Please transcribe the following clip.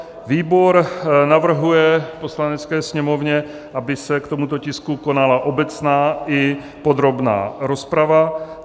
Výbor navrhuje Poslanecké sněmovně, aby se k tomuto tisku konala obecná i podrobná rozprava.